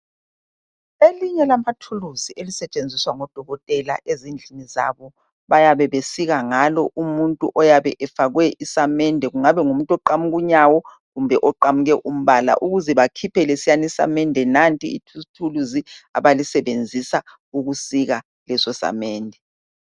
Elinye lamathuluzu elisetshenziswa ngodokotela ezindlini zabo bayabe besika ngalo umuntu oyabe efakwe isamende kungabe ngumuntu oqamuke unyawo kumbe oqamuke umbala ukuze bakhiphe lesiyana isamende nanti ithuluzi abalisebenzisa ukusika leso samende.